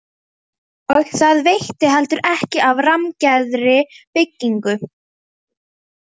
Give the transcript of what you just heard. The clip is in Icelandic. Og það veitti heldur ekki af rammgerðri bryggju.